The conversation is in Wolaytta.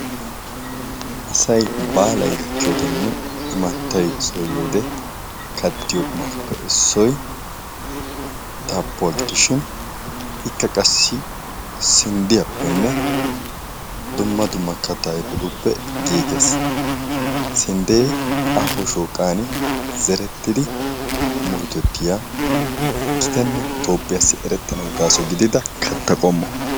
Asay baalay gakkiyoodenne imattay so yiyoode kattiyo qumaappe issoy daabbuwa gidishin ikka qassi sinddiyappenne dumma dumma kattaa ayipetuppe giiges. Sinddee aaho shooqaani zerettidi murutettiya gitanne toophiyaassi erettanawu gaaso gidida katta qommo.